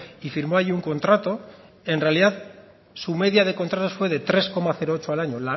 y firmó allí un contrato en realidad su media de contratos fue de tres coma ocho al año